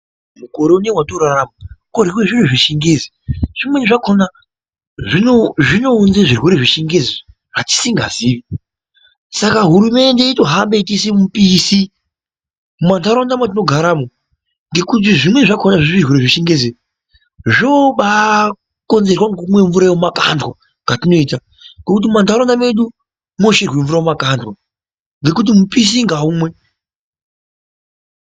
Mukore unou watinorarama kworyiwe zviro zvechingezi zvimweni zvakona zvino zvinounze zvirwere zvechingezi zvatisingazii, saka hurumende yotohamba yeitisire mupisi mumanharaunda matinogaramo ngekuti zvimweni zvakona zvezvirwere zvechingezi zvobakonzerwe ngekumwe mvura yemumakandwa katinoita ngekuti mumanharaunda medu mocherwe mvura mumakandwa ngekuti mupishi ngaumwe.